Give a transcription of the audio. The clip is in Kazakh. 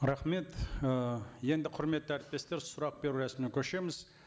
рахмет ы енді құрметті әріптестер сұрақ беру рәсіміне көшеміз